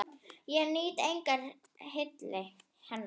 Ég nýt engrar hylli hennar!